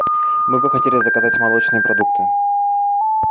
мы бы хотели заказать молочные продукты